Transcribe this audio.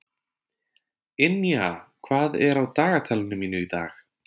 Ynja, hvað er á dagatalinu mínu í dag?